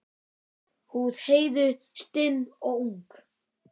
Húð Heiðu stinn og ung.